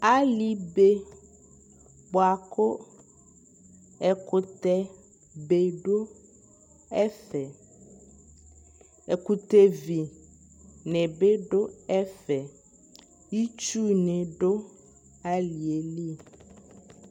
ali bɛ bʋakʋ ɛkʋtɛ bɛ dʋ ɛƒɛ, ɛkʋtɛ vi nibi dʋ ɛƒɛ, itsʋ nidʋ aliɛli